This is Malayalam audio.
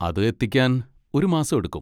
അത് എത്തിക്കാൻ ഒരു മാസം എടുക്കും.